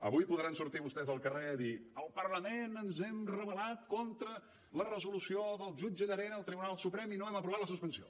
avui podran sortir vostès al carrer a dir el parlament ens hem rebel·lat contra la resolució del jutge llarena el tribunal suprem i no hem aprovat la suspensió